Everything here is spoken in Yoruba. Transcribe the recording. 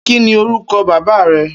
Kini órúkò bàbá rè?